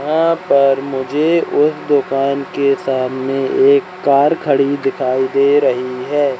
यहां पर मुझे उस दुकान के सामने एक कार खड़ी दिखाई दे रही है।